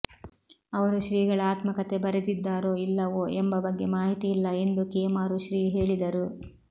ಅವರು ಶ್ರೀಗಳ ಆತ್ಮಕಥೆ ಬರೆದಿದ್ದಾರೋ ಇಲ್ಲವೋ ಎಂಬ ಬಗ್ಗೆ ಮಾಹಿತಿ ಇಲ್ಲ ಎಂದು ಕೇಮಾರು ಶ್ರೀ ಹೇಳಿದರು